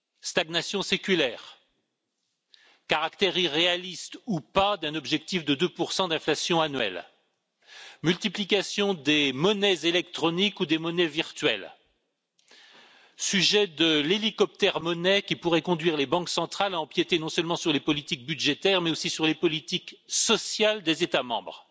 Stagnation séculaire, caractère irréaliste ou pas d'un objectif de 2 d'inflation annuelle, multiplication des monnaies électroniques ou des monnaies virtuelles, sujet de la monnaie hélicoptère qui pourrait conduire les banques centrales à empiéter, non seulement sur les politiques budgétaires, mais aussi sur les politiques sociales des États membres